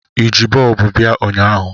I ji bọlbụ bia ụnyahụ?